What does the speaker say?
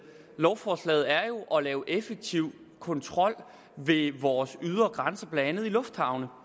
lovforslaget er jo at lave en effektiv kontrol ved vores ydre grænser blandt andet i lufthavne